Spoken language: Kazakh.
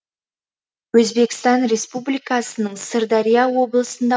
өзбекстан республикасының сырдария облысында